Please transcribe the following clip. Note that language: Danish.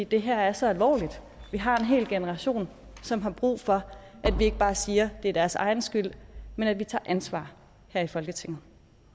det her er så alvorligt vi har en hel generation som har brug for at vi ikke bare siger at det er deres egen skyld men at vi tager ansvar her i folketinget